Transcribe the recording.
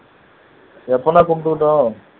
எப்போன்னாலும் கும்பிட்டுக்கட்டும்